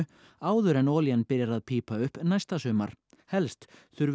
áður en olían byrjar að pípa upp næsta sumar helst þurfi